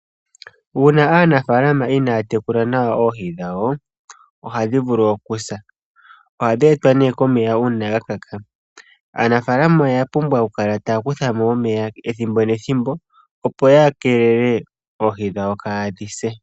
Uuna aanafaalama inaya tekula nawa oohi dhawo, ohadhi vulu okusa. Ohadhi etelwa nee komeya uuna gakaka. Aanafalama oya pumbwa oku kala taya kuthamo omeya ethimbo nethimbo opo yakeelele oohi dhawo kadhi se.